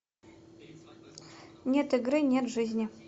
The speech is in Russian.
нет игры нет жизни